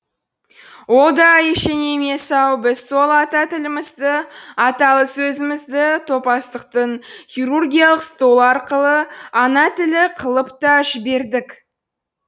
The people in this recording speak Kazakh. ол да ештеңе емес ау біз сол ата тілімізді аталы сөзімізді топастықтың хирургиялық столы арқылы ана тілі қылып та жібердік